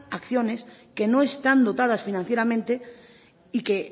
acciones que no están dotadas financieramente y que